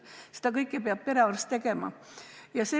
Seda kõike peab perearst tegema.